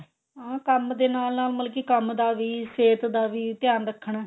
ਹਾਂ ਕੰਮ ਦੇ ਨਾਲ ਨਾਲ ਮਤਲਬ ਕੀ ਕੰਮ ਦਾ ਵੀ ਸਿਹਤ ਦਾ ਵੀ ਧਿਆਨ ਰੱਖਣਾ